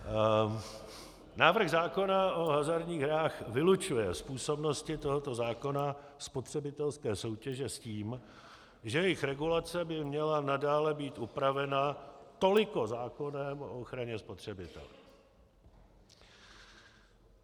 Návrh zákona o hazardních hrách vylučuje z působnosti tohoto zákona spotřebitelské soutěže s tím, že jejich regulace by měla nadále být upravena toliko zákonem o ochraně spotřebitele.